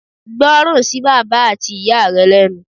Gbọ́ràn sí bàbá at ìyá rẹ lẹ́nu